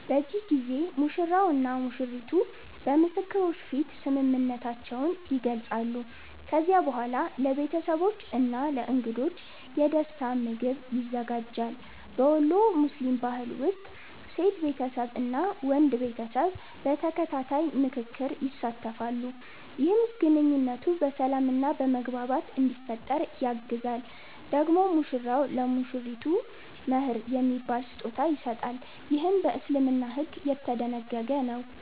በዚህ ጊዜ ሙሽራው እና ሙሽሪቱ በምስክሮች ፊት ስምምነታቸውን ይገልጻሉ። ከዚያ በኋላ ለቤተሰቦች እና ለእንግዶች የደስታ ምግብ ይዘጋጃል። በወሎ ሙስሊም ባህል ውስጥ ሴት ቤተሰብ እና ወንድ ቤተሰብ በተከታታይ ምክክር ይሳተፋሉ፣ ይህም ግንኙነቱ በሰላም እና በመግባባት እንዲፈጠር ያግዛል። ደግሞ ሙሽራው ለሙሽሪቱ “መህር” የሚባል ስጦታ ይሰጣል፣ ይህም በእስልምና ሕግ የተደነገገ ነው።